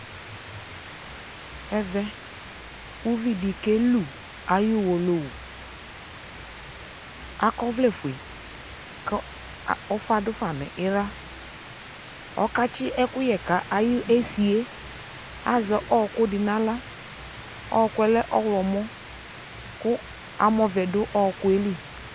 ɛvɛ uvi di kelu ayi uwolowu akɔ ɔvlɛ fue ko ufa do fa no ala, ɔka tsi ɛkoyɛ ka ayesi azɛ ɔko di no ala, ɔkoɛ lɛ ɔwlɔmɔ ko amɔ vɛ do ɔkoɛ li